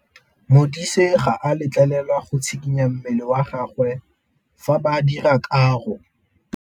Modise ga a letlelelwa go tshikinya mmele wa gagwe fa ba dira karô.